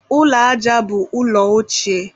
ụlọ aja ụrọ bụ ụlọ ochie.